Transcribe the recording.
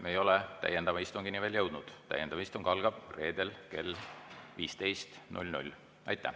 Me ei ole täiendava istungini veel jõudnud, täiendav istung algab reedel kell 15.00.